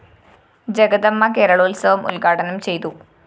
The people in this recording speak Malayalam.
ജഗദമ്മ കേരളോത്സവം ഉദ്ഘാടനം ചെയ്തു